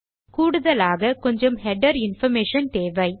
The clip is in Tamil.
கூடுதலாக கொஞ்சம் ஹெடர் இன்பார்மேஷன் தேவை